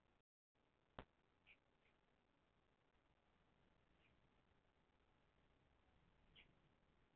Þegar briskirtillinn starfar ekki eðlilega fara afleiðingarnar eftir því hvaða starfsemi truflast.